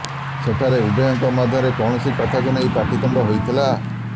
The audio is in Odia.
ସେଠାରେ ଉଭୟଙ୍କ ମଧ୍ୟରେ କୌଣସି କଥାକୁ ନେଇ ପାଟିତୁଣ୍ଡ ହୋଇଥିଲା